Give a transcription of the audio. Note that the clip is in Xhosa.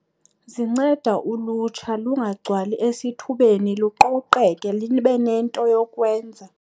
Zinceda ulutsha lungagcwali esithubeni luqoqeke libe nento yokwenza.